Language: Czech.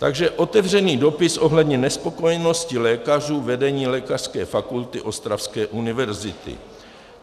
Takže otevřený dopis ohledně nespokojenosti lékařů vedení Lékařské fakulty Ostravské univerzity.